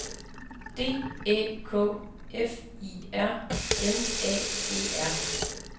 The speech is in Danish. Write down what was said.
D Æ K F I R M A E R